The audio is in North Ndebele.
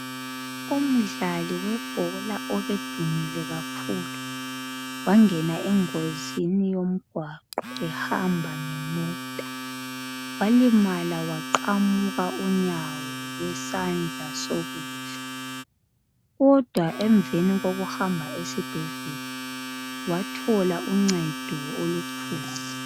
Umdlali webhola obedumile kakhulu wangena engozini yomgwaqo ehamba ngemota. Walimala waqamuka unyawo lwesandla sokudla kodwa emveni kokuhamba esibhedlela wathola uncedo olukhulu.